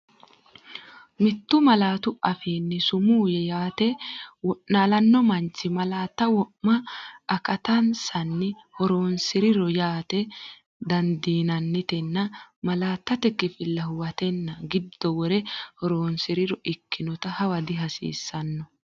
Mittu malaatu afiinni sumuu yaate wo’naalanno manchi malaatta wo’ma akattansanni horoonsi’rino yaate dandiinanni- tenne malaattate kifilla huwatenna giddo wore horoonsi’riro ikkinota hawa dihasiissanno.